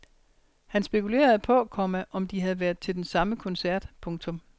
Han spekulerede på, komma om de havde været til den samme koncert. punktum